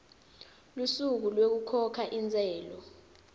lusuku lwekukhokha intsela